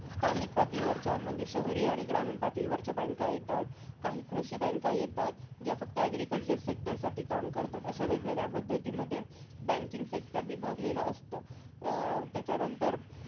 स्थानिक पातळीवरच्या म्हणजे शहरी आणि ग्रामीण पातळीवरच्या banks येतात. काही कृषी banks येतात. ज्या फक्त agriculture sector साठीचं काम करतात. अशा वेगवेगळ्या पद्धतीमध्ये banking sector विभागलं असतं. अं त्याच्यानंतर